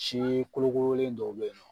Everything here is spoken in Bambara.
Si kolokolen dɔw bɛ yen nɔ